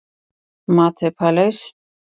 MATE PALAIS